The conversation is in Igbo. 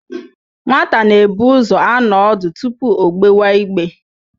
Nwata na-ebu ụzọ anọ ọdụ tupu o gbewa igbe.